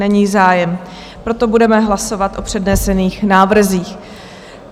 Není zájem, proto budeme hlasovat o přednesených návrzích.